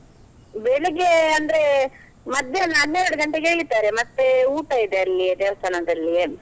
ಬೆಳಿಗ್ಗೆ ಅಂದ್ರೆ, ಮಧ್ಯಾಹ್ನ ಹನ್ನೆರಡು ಗಂಟೆಗೆ ಎಳಿತಾರೆ, ಮತ್ತೆ ಊಟ ಇದೆ ಅಲ್ಲಿಯೇ ದೇವಸ್ಥಾನದಲ್ಲಿಯೇ.